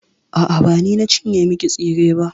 A'a, ba ni na cinye miki tsire ba.